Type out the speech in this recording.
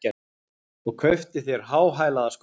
Og kauptu þér háhælaða skó!